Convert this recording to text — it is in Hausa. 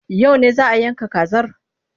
Yau ne za a yanka kazar?